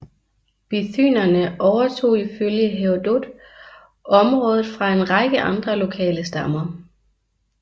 Bithynerne overtog ifølge Herodot området fra en række andre lokale stammer